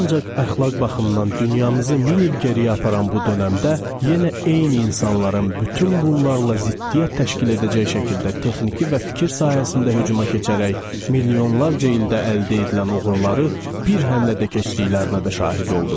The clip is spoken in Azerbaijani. Ancaq əxlaq baxımdan dünyamızı min il geriyə aparan bu dönəmdə yenə eyni insanların bütün bunlarla ziddiyyət təşkil edəcək şəkildə texniki və fikir sahəsində hücuma keçərək milyonlarca ildə əldə edilən uğurları bir həmlədə keçdiklərinə də şahid oldum.